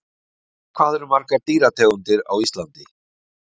Hvað eru margar dýrategundir á Íslandi?